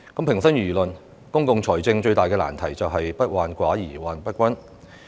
平心而論，公共財政最大的難題就是"不患寡而患不均"。